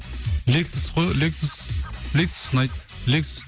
лексус қой лексус лексус ұнайды лексус